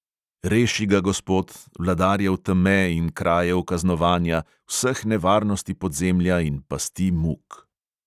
"Reši ga, gospod, vladarjev teme in krajev kaznovanja, vseh nevarnosti podzemlja in pasti muk..."